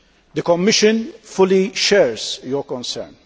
The Commission fully shares your concern.